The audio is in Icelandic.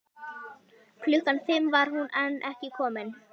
Klukkan fimm var hún enn ekki komin.